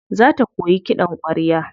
Za ta koyi kiɗan ƙwarya.